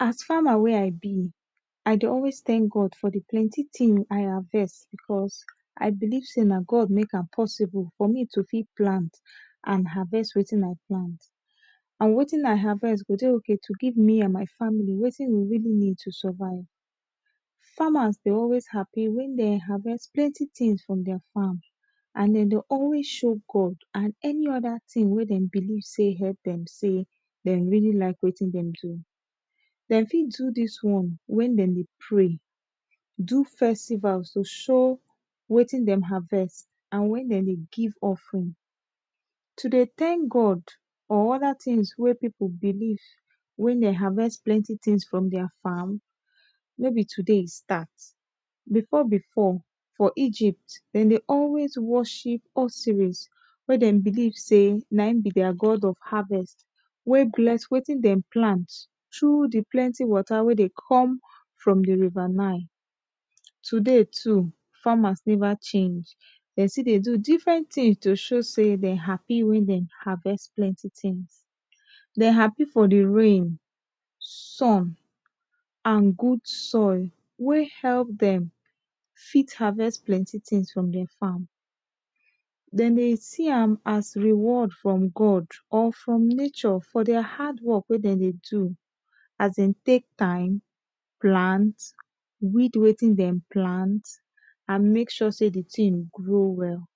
as farmer wey i be i dey always thank God for the plenty i harvest because i believe sey na God makeam possible for me to fit plant and harvest wetin i plant and wetin i harvest go dey okay to give me and my family wetin we really need to survive farmers dey always happy when dem harvest plenty tings from their farm and dem dey always show God and any other ting wey dem believe sey help dem sey dem really like wetin dem do dem fit do this one when dem dey pray do festivals to show wetin dem harvest andwen dem dey give offering to dey thank God or other tings wey people believe when dem harvest plenty tings for their farm no be today e start before before for egypt dem dey always worship Orsyris wey dem believe sey na him be their God of harvest wey bless wetin dem plant through the plenty water wey dey come from the river nile today too farmers never change dem still dey do different tings to show sey dem happy wen dem harvest plenty tings dem happy for the rain sun and good soil wey help them fit harvest plenty tings from the farm dem dey see am as reward from God or from nature for their hard work wey dem dey do as dem take time plant weed wetin dem plant and make sure sey the ting grow well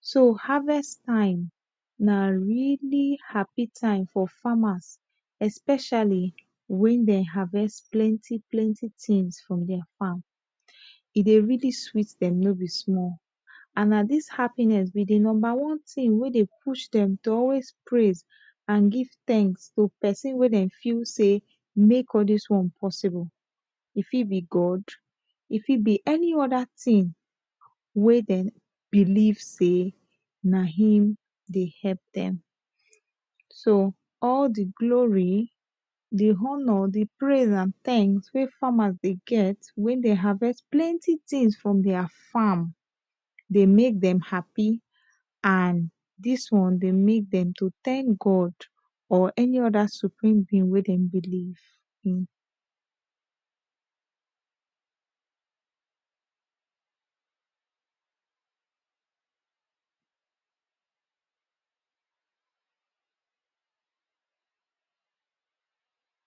so harvest time na really happy time for farmers especially when dem harvest plenty plenty tings from their farm e dey really sweet dem no be small and na dis happiness be the number one ting wey dey push dem to always praise and give thanks to person wey dem feel sey make all this one possible e fit be God e fit be any other ting wey dem believe sey na him dey help dem so all the glory the honour the praise and thanks wey farmers dey get when they harvest plenty tings from their farm the make dem happy and this one dey make dem to thank God for any other supreme being wey dem believe.